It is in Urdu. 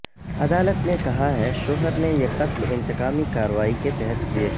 عدالت نے کہا ہے شوہر نے یہ قتل انتقامی کارروائی کے تحت کیے